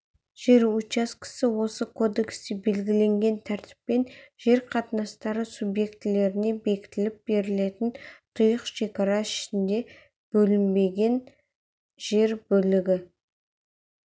жер учаскесі осы кодексте белгіенген тәртіппен жер қатынастары субъектілеріне бекітіліп берілетін тұйық шекара ішінде бөлінген жер бөлігі